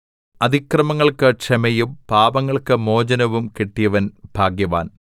അതിക്രമങ്ങൾക്ക് ക്ഷമയും പാപങ്ങൾക്ക് മോചനവും കിട്ടിയവൻ ഭാഗ്യവാൻ